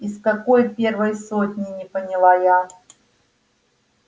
из какой первой сотни не поняла я